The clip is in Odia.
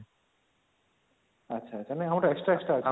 ଆଛା ତାମାନେ ଆଉ ଗୋଟେ extra extra ଅଛି